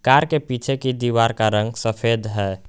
Car के पीछे की दीवार का रंग सफेद है।